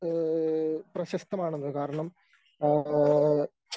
ഏഹ് പ്രശസ്തമാണെന്ന് കാരണം ആഹ്